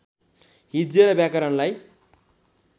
हिज्जे र व्याकरणलाई